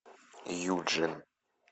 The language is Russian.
юджин